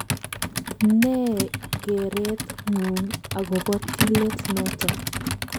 Ne gereet ng'ung agobo tilet noto